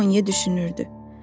Jan Moye düşünürdü.